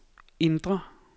indre